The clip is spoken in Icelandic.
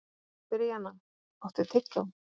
Bríanna, áttu tyggjó?